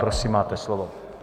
Prosím, máte slovo.